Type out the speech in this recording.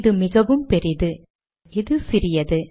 இது மிகவும் பெரிது இது சிறியது